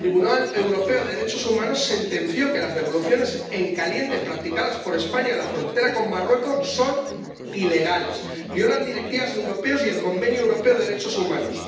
El Tribunal Europeo de Derechos Humanos sentenció que las devoluciones en caliente practicadas por España en la frontera con Marruecos son ilegales, violan directivas europeas y el Convenio Europeo de Derechos Humanos.